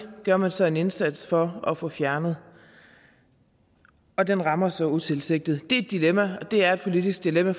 gør man så en indsats for at få fjernet og og den rammer så utilsigtet det er et dilemma og det er et politisk dilemma